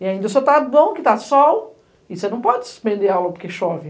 E ainda o senhora está bom que está sol, e você não pode suspender a aula porque chove.